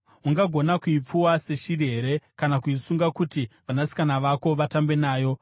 Ungagona kuipfuwa seshiri here kana kuisunga kuti vanasikana vako vatambe nayo?